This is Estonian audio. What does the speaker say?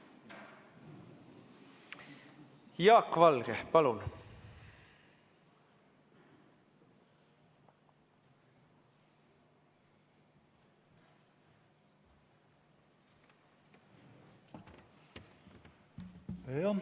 Jaak Valge, palun!